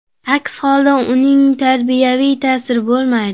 Aks holda, uning tarbiyaviy ta’siri bo‘lmaydi.